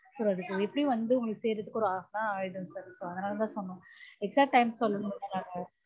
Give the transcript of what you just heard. sir அதுக்கு எப்படியும் வந்து உங்களுக்கு சேருவதுக்கு ஒரு half an hour ஆயிடும் sir அதனாலதான் சொன்னோம். exact time சொல்லனும் இல்ல நாங்க.